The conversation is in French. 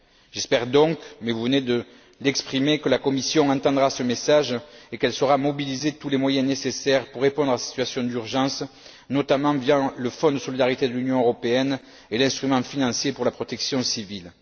J'espère donc, mais vous venez de l'exprimer, que la Commission entendra ce message et qu'elle saura mobiliser tous les moyens nécessaires pour répondre à cette situation d'urgence, notamment via le Fonds de solidarité de l'Union européenne et l'instrument financier pour la protection civile.